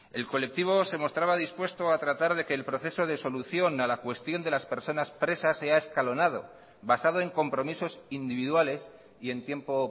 el colectivo se mostraba dispuesto a tratar de que el proceso de solución a la cuestión de las personas presas sea escalonado basado en compromisos individuales y en tiempo